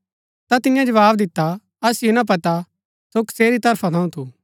ता तियें जवाव दिता असिओ न पता सो कसेरी तरफा थऊँ थू